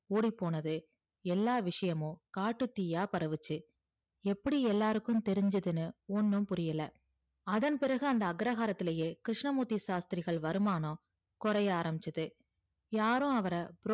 ஓடிப்போனது எல்லாம் விஷயமும் காட்டு தீயா பரவிச்சு எப்டி எல்லாருக்கும் தேரிச்சுதுன்னு ஒன்னும் புரியல அதன் பிறகு அந்த அக்ரகாரத்துலேயே கிருஸ்னமூர்த்தி சாஸ்த்திரிகள் வருமானம் கோரயே ஆரம்பிச்சது யாரும் அவர